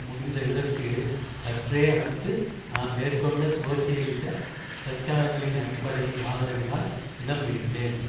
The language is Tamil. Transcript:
முடிந்த இதற்கு சற்றே அடுத்து நான் மேற்கொண்ட சோசியலிச பிரச்சாரங்களின் அடிப்படையின் ஆதரவினால் இடம் பிடித்தேன்